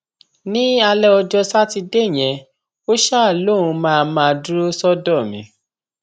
ní alẹ ọjọ sátidé yẹn ó ṣáà lóun máa máa dúró sọdọ mi